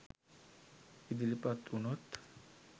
ඉදිරිපත් උනොත්